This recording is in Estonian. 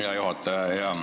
Hea juhataja!